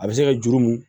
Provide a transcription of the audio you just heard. A bɛ se ka juru mun